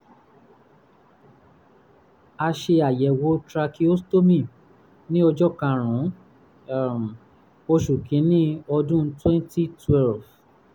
a ṣe àyẹ̀wò tracheostomy ní ọjọ́ karùn-ún um oṣù kìíní ọdún twenty twelve